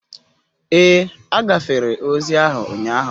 Ee, agafere ozi ahụ ụnyaahụ